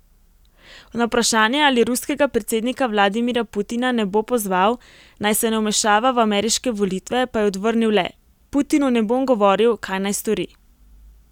Na vprašanje, ali ruskega predsednika Vladimirja Putina ne bo pozval, naj se ne vmešava v ameriške volitve pa je odvrnil le: 'Putinu ne bom govoril, kaj naj stori.